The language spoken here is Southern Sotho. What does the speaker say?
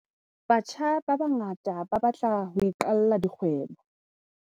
Batjha ba bangata ba batla ho iqalla dikgwebo.